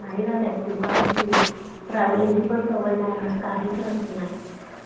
इकडची light लावला, इकडची light लावला बाहेर जाऊ नका, बाहेर जाऊ नका